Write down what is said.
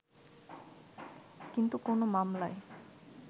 কিন্তু কোন মামলায়